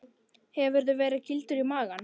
Hefurðu verið kýldur í magann?